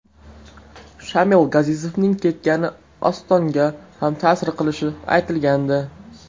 Shamil Gazizovning ketgani Ostonga ham ta’sir qilishi aytilgandi.